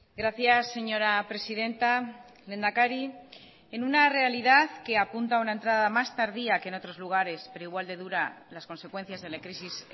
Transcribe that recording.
gracias señora presidenta lehendakari en una realidad que apunta a una entrada más tardía que en otros lugares pero igual de dura las consecuencias de la crisis